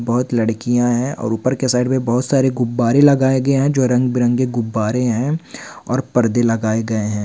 बहुत लड़कियाँ है और ऊपर साइड में बहुत सारे गुब्बारें लगाए गए हैं जो रंग बिरंगे-गुबारें हैं और पर्दे लगाए गए है।